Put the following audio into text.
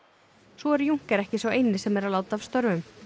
svo er Juncker ekki sá eini sem er að láta af störfum